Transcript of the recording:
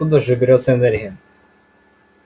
откуда же берётся энергия